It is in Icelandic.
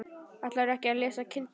Ætlarðu ekki að lesa kindin?